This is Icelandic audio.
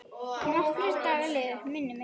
Nokkrir dagar liðu, minnir mig.